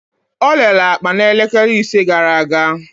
Olele akpa na elekele ise gara aga.